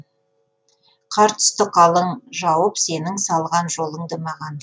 қар түсті қалың жауып сенің салған жолыңды маған